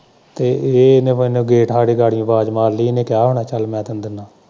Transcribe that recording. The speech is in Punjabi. ਤੇ ਇਹਨੇ ਮੈਨੂੰ ਗੇਟ ਹਾਂਡੇ ਗਾੜੀਓ ਆਵਾਜ਼ ਮਾਰ ਲੀ ਇਹਨੇ ਕਿਹਾ ਹੋਣਾ ਕਾਲੀ ਮੈਂ ਤੈਨੂੰ ਦਿੰਦਾ।